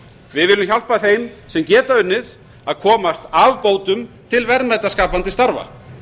við viljum hjálpa þeim sem geta unnið að komast af bótum til verðmætaskapandi starfa